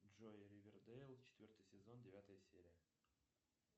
джой ривердейл четвертый сезон девятая серия